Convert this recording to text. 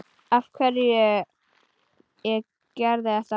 Af hverju ég gerði þetta.